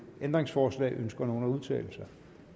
ændringsforslag ønsker nogen at udtale sig